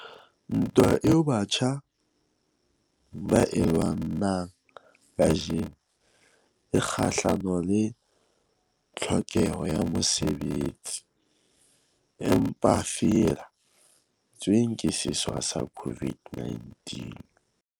Ntwa eo batjha ba e lwanang kajeno e kgahlano le tlhokeho ya mosebetsi, e mpefadi tsweng ke sewa sa COVID-19.